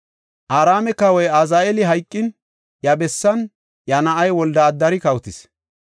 Araame kawoy Azaheeli hayqin, iya bessan iya na7ay Wolde-Adari kawotis.